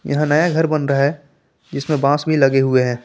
यहां नया घर बन रहा है जिसमे बास भी लगे हुए है।